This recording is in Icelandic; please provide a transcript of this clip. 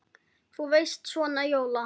Þú veist. svona jóla.